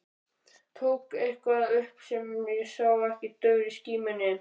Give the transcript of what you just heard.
Tók eitthvað upp sem ég sá ekki í daufri skímunni.